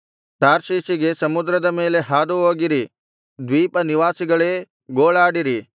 ತಾರ್ಷೀಷಿಗೆ ಸಮುದ್ರದ ಮೇಲೆ ಹಾದುಹೋಗಿರಿ ದ್ವೀಪ ನಿವಾಸಿಗಳೇ ಗೋಳಾಡಿರಿ